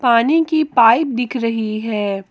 पानी की पाइप दिख रही है।